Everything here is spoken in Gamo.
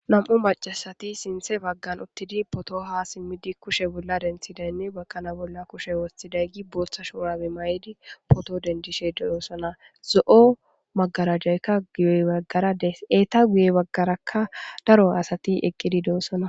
Nam'u macasati sinthe baggan uttidi poto ha simmidi kushe bolla denthidaynne bakkana bolla kushe wostiday gi booththa shourabe may'idi poto dendishe ddoossana zo'o magarajayka guye baggarades eeta guye baggarakka daro asati eqqidi doossana